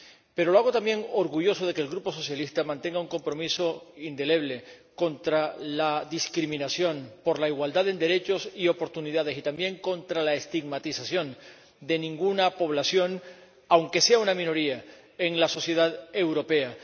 Pero lo hago también orgulloso de que el Grupo socialista mantenga un compromiso indeleble contra la discriminación, por la igualdad de derechos y oportunidades, y también contra la estigmatización de ninguna población, aunque sea una minoría, en la sociedad europea.